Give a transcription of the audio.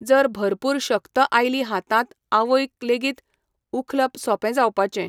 जर भरपूर शक्त आयली हातांत आवयक लेगीत उखलप सोंपे जावपाचें.